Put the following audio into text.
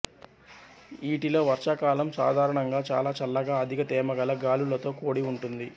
ఊటీలో వర్షాకాలం సాధారణంగా చాలా చల్లగా అధిక తేమగల గాలులతో కూడి ఉంటుంది